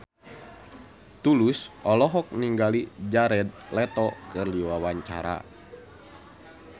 Tulus olohok ningali Jared Leto keur diwawancara